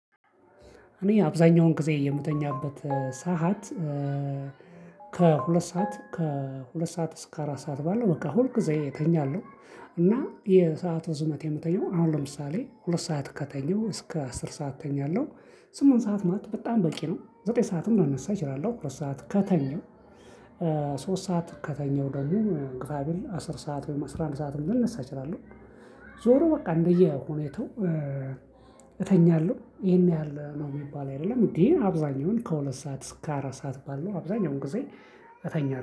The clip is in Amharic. እኔ አብዛኛውን ግዜ የምተኛበት ሰዓት ከሁለት ሰዓት ከሁለት ሰዓት እስከ አራት ሰዓት ባለው በቃ ሁል ጊዜ እተኛለሁ እና የሰዓቱ እርዝመት የምተኛው፣ አሁን ለምሳሌ ሁለት ሰዓት ከተኛው እስከ አስር ሰዓት እተኛለው። ስምንት ሰዓት ማለት በጣም በቂ ነው። ዘጠኝ ሰዓትም ልነሳ እችላለው በሰአት ከተኛው። ሶስት ሰዓት ከተኛው ደግሞ ግፋ ቢል አስር ሰዓት ወይም አስራ አንድ ሰዓትም ቢሆን ልነሳ እችላለው። ዞሮ በቃ እንደየሁኔታው እተኛለሁ። ይሄን ያህል ነው የሚባል አይደለም። እንዴ አብዛኛውን ከሁለት ሰዓት እስከ አራት ሰዓት ባለው አብዛኛውን ጊዜ እተኛለሁ።